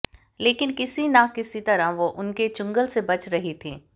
लेकिन किसी न किसी तरह वो उनके चंगुल से बच रही थी